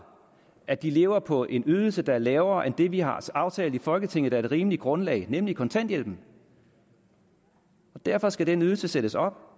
at de lever på en ydelse der er lavere end det vi har aftalt i folketinget er et rimeligt grundlag nemlig kontanthjælpen derfor skal den ydelse sættes op